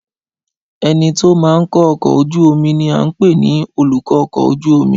Ẹnití ó máa ń kó ọkọ̀ ojú omi ni a ń pè ní olùkọ́-ọkọ̀-ojú-omi